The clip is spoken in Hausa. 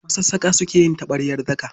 Masassaƙa suka yi taɓaryar daka.